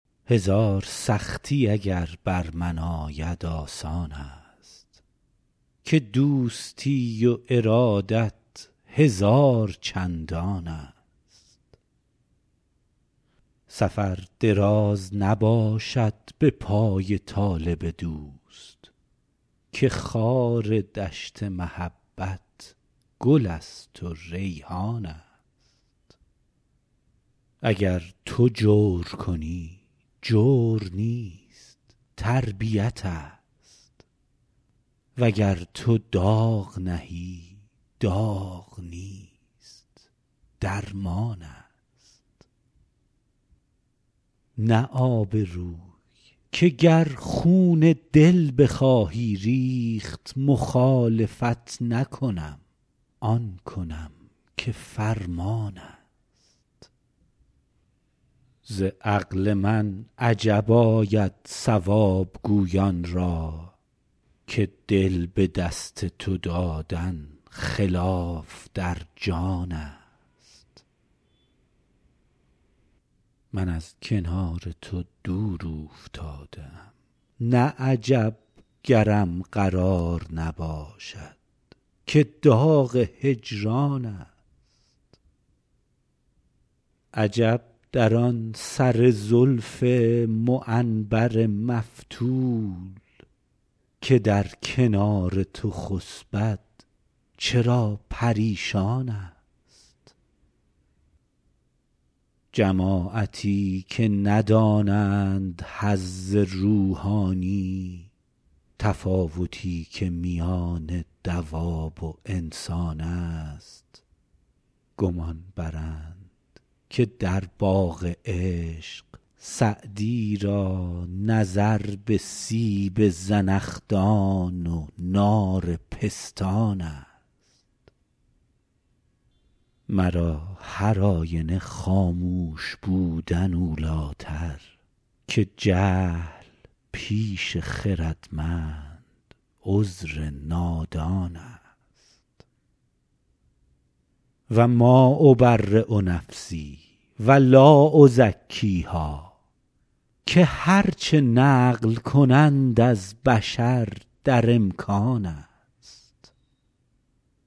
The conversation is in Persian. هزار سختی اگر بر من آید آسان است که دوستی و ارادت هزار چندان است سفر دراز نباشد به پای طالب دوست که خار دشت محبت گل است و ریحان است اگر تو جور کنی جور نیست تربیت ست وگر تو داغ نهی داغ نیست درمان است نه آبروی که گر خون دل بخواهی ریخت مخالفت نکنم آن کنم که فرمان است ز عقل من عجب آید صواب گویان را که دل به دست تو دادن خلاف در جان است من از کنار تو دور اوفتاده ام نه عجب گرم قرار نباشد که داغ هجران است عجب در آن سر زلف معنبر مفتول که در کنار تو خسبد چرا پریشان است جماعتی که ندانند حظ روحانی تفاوتی که میان دواب و انسان است گمان برند که در باغ عشق سعدی را نظر به سیب زنخدان و نار پستان است مرا هرآینه خاموش بودن اولی تر که جهل پیش خردمند عذر نادان است و ما أبری نفسی و لا أزکیها که هر چه نقل کنند از بشر در امکان است